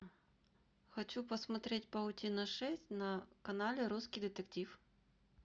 хочу посмотреть паутина шесть на канале русский детектив